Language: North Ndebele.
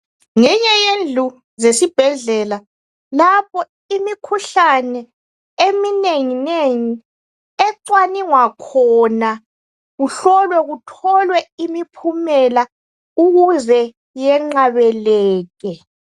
Ngenye yendlu zesibhedlela lapho imikhuhlane eminenginengi ecwaningwa khona uhlolwe kutholwe impihumela ukuze yenqabeleke.